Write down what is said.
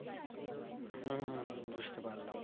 হম হম হম বুঝতে পারলাম